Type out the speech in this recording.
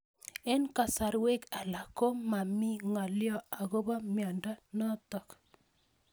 Eng'kasarwek alak ko mami ng'alyo akopo miondo notok